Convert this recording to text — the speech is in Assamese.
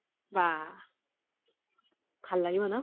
বাহ ভাল লাগিব ন